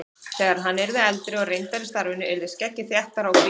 Þegar hann yrði eldri og reyndari í starfinu yrði skeggið þéttara og hvítara.